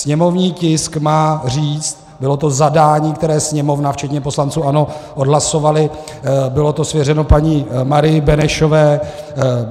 Sněmovní tisk má říct, bylo to zadání, které Sněmovna včetně poslanců ANO odhlasovali, bylo to svěřeno paní Marii Benešové.